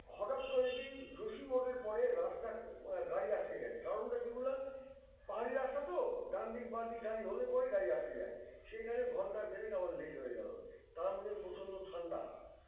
হঠাৎ করে দেখি যোশিমোড়ের পরে রাস্তা গাড়ি আটকে গেছে কারণটা কী বলাম পাহাড়ি রাস্তা তো ডানদিক বাঁদিক গাড়ি হলে পড়েই গাড়ি আটকে যায় সেইখানে ঘন্টা দেড়েক আমার late হয়ে গেল তার মধ্যে প্রচন্ড ঠান্ডা